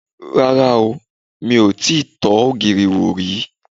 Rárá o, mi ò tíì tọ́ ògìrì wò rí